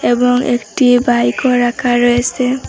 এবং একটি বাইকও রাখা রয়েসে।